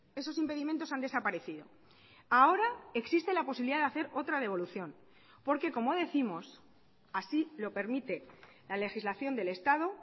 esos impedimentos han desaparecido ahora existe la posibilidad de hacer otra devolución porque como décimos así lo permite la legislación del estado